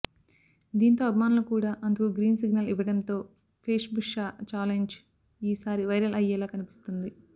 దీంతో అభిమానులు కూడా అందుకు గ్రీన్ సిగ్నల్ ఇవ్వడంతో వేష్బుషా ఛాలెంజ్ ఈ సారి వైరల్ అయ్యేలా కనిపిస్తోంది